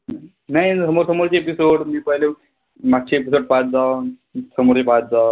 नाई पहिली होती. मागचे episode पाहत जावा. समोरचे पाहत जावा.